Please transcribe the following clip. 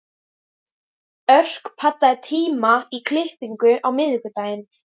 Örk, pantaðu tíma í klippingu á miðvikudaginn.